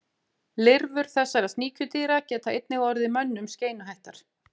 lirfur þessara sníkjudýra geta einnig orðið mönnum skeinuhættar